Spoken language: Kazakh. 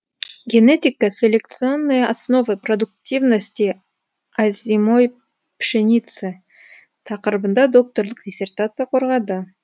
генетико селекционные основы продуктивности озимой пшеницы тақырыбында докторлық диссертация қорғады